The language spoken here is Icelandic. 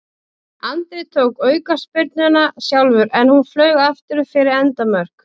Andri tók aukaspyrnuna sjálfur en hún flaug aftur fyrir endamörk.